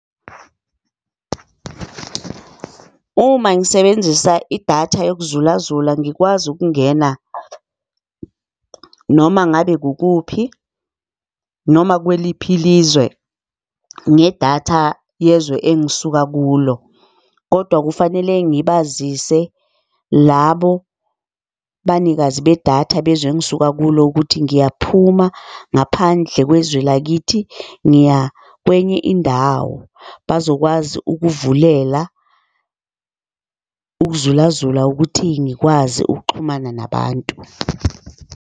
Uma ngisebenzisa idatha yokuzulazula, ngikwazi ukungena noma ngabe kukuphi, noma kweliphi ilizwe, ngedatha yezwe engisuka kulo. Kodwa kufanele ngibazise labo banikazi bethatha bezwe engisuka kulo ukuthi ngiyaphuma ngaphandle kwezwe lakithi ngiya kwenye indawo. Bazokwazi ukuvulela ukuzulazula ukuthi ngikwazi ukuxhumana nabantu.